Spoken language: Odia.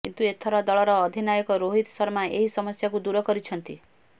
କିନ୍ତୁ ଏଥର ଦଳର ଅଧିନାୟକ ରୋହିତ ଶର୍ମା ଏହି ସମସ୍ୟାକୁ ଦୂର କରିଛନ୍ତି